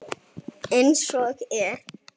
Eins og er.